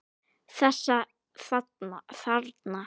Þessa þarna!